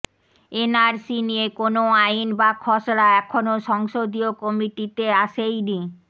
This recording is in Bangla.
এনআরসি নিয়ে কোনও আইন বা খসড়া এখনও সংসদীয় কমিটিতে আসেইনি